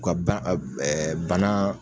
U ka ban bana